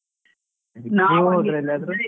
ಹೋದ್ರಾ ಎಲ್ಲಾದ್ರೂ?